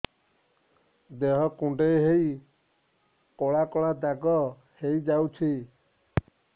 ଦେହ କୁଣ୍ଡେଇ ହେଇ କଳା କଳା ଦାଗ ହେଇଯାଉଛି